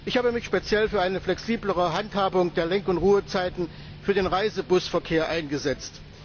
Ich habe mich speziell für eine flexiblere Handhabung der Lenk und Ruhezeiten für den Reisebusverkehr eingesetzt.